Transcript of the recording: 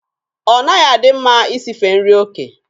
Ọ naghị adị mma Ị sife nri ofe.